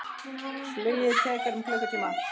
Flugið tekur um klukkutíma.